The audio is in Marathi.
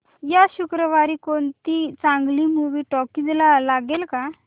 या शुक्रवारी कोणती चांगली मूवी टॉकीझ ला लागेल का